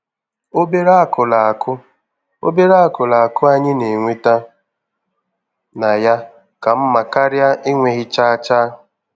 Obere akụrụ akụ Obere akụrụ akụ anyị na-enweta na ya ka mma karịa enweghi chaa chaa.